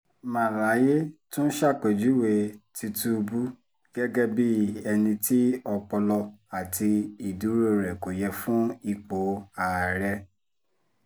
màláyé tún ṣàpèjúwe tìtùbù gẹ́gẹ́ bíi ẹni tí ọpọlọ àti ìdúró rẹ̀ kò yẹ fún ipò àárẹ̀